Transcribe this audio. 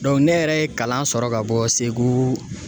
ne yɛrɛ ye kalan sɔrɔ ka bɔ segu.